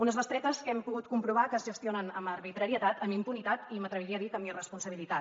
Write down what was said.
unes bestretes que hem pogut comprovar es gestionen amb arbitrarietat amb impunitat i m’atreviria a dir que amb irresponsabilitat